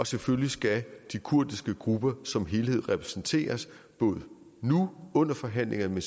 selvfølgelig skal de kurdiske grupper som helhed repræsenteres både nu under forhandlingerne